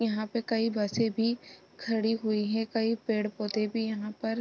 यहाँ पे कई बसे भी खड़ी हुई है कई पेड़-पौधे भी यहाँ पर --